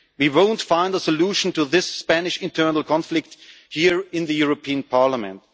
We will not find a solution to this Spanish internal conflict here in the European Parliament.